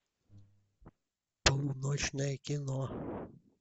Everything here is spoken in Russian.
полуночное кино